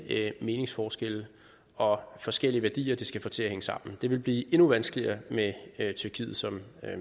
meningsforskelle og forskellige værdier det skal få til at hænge sammen det vil blive endnu vanskeligere med tyrkiet som